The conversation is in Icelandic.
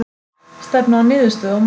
Stefna að niðurstöðu á morgun